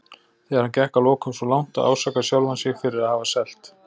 Þegar hann gekk að lokum svo langt að ásaka sjálfan sig fyrir að hafa selt